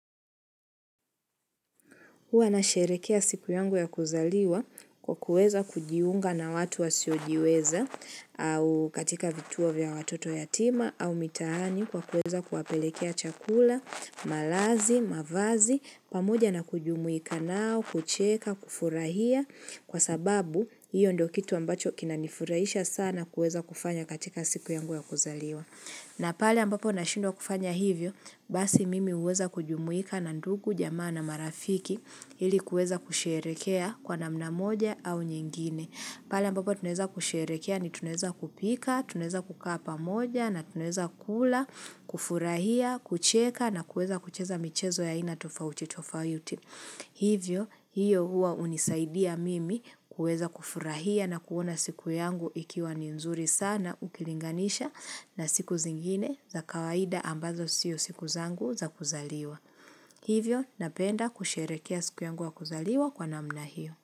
Huwa na sherekea siku yangu ya kuzaliwa kwa kuweza kujiunga na watu wasiyojiweza au katika vituo vya watoto yatima au mitaani kwa kuweza kuwapelekea chakula, malazi, mavazi, pamoja na kujumuika nao, kucheka, kufurahia kwa sababu hiyo ndiyo kitu ambacho kinanifurahisha sana kuweza kufanya katika siku yangu ya kuzaliwa. Na pale ambapo na shindwa kufanya hivyo, basi mimi huweza kujumuika na ndugu, jamaa na marafiki ili kuweza kusherekea kwa namna moja au nyingine. Pale ambapo tunaweza kusherekea ni tunaweza kupika, tunaweza kukapa moja na tunaweza kula, kufurahia, kucheka na kuweza kucheza michezo ya aina tofauti tofauti. Hivyo, hiyo huwa hunisaidia mimi kuweza kufurahia na kuona siku yangu ikiwa ninzuri sana ukilinganisha na siku zingine za kawaida ambazo siyo siku zangu za kuzaliwa. Hivyo, napenda kusherekea siku yangu ya kuzaliwa kwa namna hiyo.